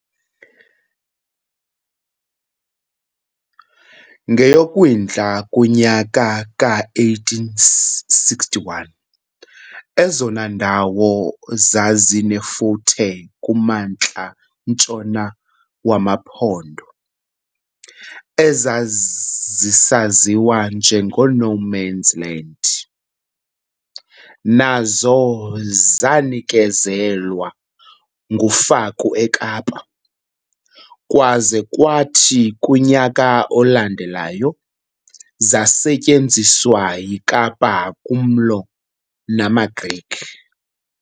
NgeyoKwindla kumnyaka ka-1861 ezona ndawo zazinefuthe kumantla-ntshona wamaMpondo, ezazisaziwa njengo-"no-mans-land", nazo zanikezelwa nguFaku eKapa, kwaza kwathi kumnyaka olandelayo zasetyenziswa yiKapa kumlo namaGriqua.